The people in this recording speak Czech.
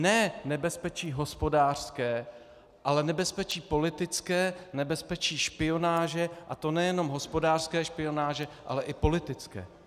Ne nebezpečí hospodářské, ale nebezpečí politické, nebezpečí špionáže, a to nejenom hospodářské špionáže, ale i politické.